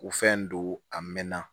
U fɛn don a mɛn na